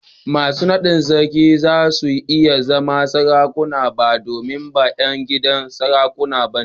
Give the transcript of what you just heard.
Masu naɗin sarki ba za su iya zama Sarakuna ba domin ba ’yan gidan sarauta ba ne.